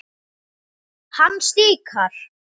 Hann stikar.